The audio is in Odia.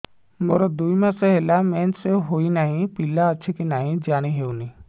ମୋର ଦୁଇ ମାସ ହେଲା ମେନ୍ସେସ ହୋଇ ନାହିଁ ପିଲା ଅଛି କି ନାହିଁ ଜାଣି ହେଉନି